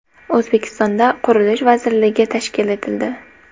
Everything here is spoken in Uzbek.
O‘zbekistonda Qurilish vazirligi tashkil etildi.